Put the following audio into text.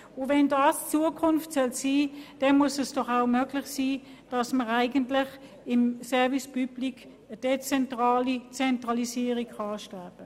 Sollte das die Zukunft sein, dann sollte es auch möglich sein, im Service public eine dezentrale Zentralisierung anzustreben.